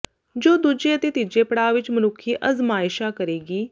ਜੋ ਦੂਜੇ ਅਤੇ ਤੀਜੇ ਪੜਾਅ ਵਿੱਚ ਮਨੁੱਖੀ ਅਜ਼ਮਾਇਸ਼ਾਂ ਕਰੇਗੀ